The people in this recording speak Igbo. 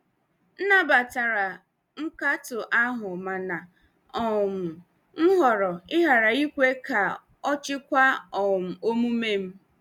M nabatara nkatọ ahụ mana um m họrọ ịghara ikwe ka ọ chịkwaa um omume m.